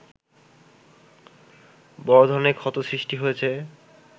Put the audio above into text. বড় ধরনের ক্ষত সৃষ্টি হয়েছে